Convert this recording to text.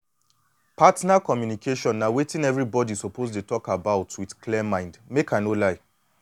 partner communication na wetin everybody suppose dey talk about with clear mind make i no lie